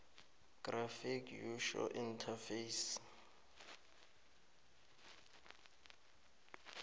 graphical user interface